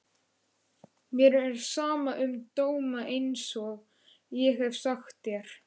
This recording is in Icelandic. Mér er sama um dóma einsog ég hef sagt þér.